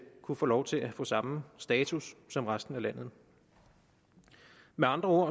kunne få lov til at få samme status som resten af landet med andre